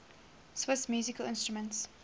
swiss musical instruments